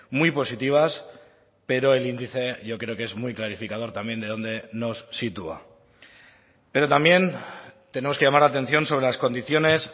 muy positivas pero el índice yo creo que es muy clarificador también de dónde nos sitúa pero también tenemos que llamar la atención sobre las condiciones